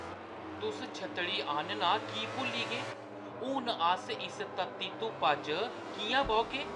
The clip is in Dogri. तुस छत्तड़ी आह्‌नना की भुल्ली गे ? हून अस इस तत्ती धुप्पा च किʼयां बौह्‌गे?